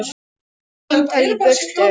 Bara símtal í burtu.